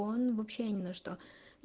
он вообще ни на что